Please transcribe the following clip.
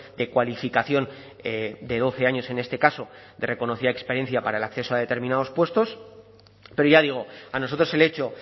de cualificación de doce años en este caso de reconocida experiencia para el acceso a determinados puestos pero ya digo a nosotros el hecho